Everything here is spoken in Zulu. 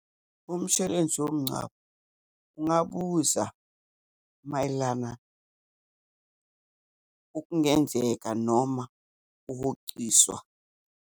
Umshwarensi womngcwabo ungabuza mayelana okungenzeka noma ukuhociswa.